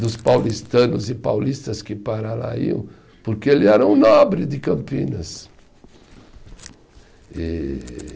dos paulistanos e paulistas que para lá iam, porque ele era um nobre de Campinas. E